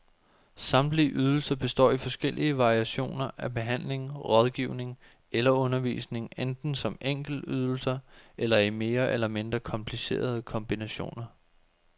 Samtlige ydelser består i forskellige variationer af behandling, rådgivning eller undervisning, enten som enkeltydelser eller i mere eller mindre komplicerede kombinationer.